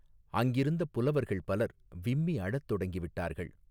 அங்கிருந்த புலவர்கள் பலர் விம்மி அழத் தொடங்கிவிட்டார்கள்.